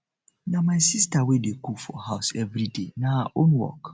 na my sista wey dey cook for house everyday na her own work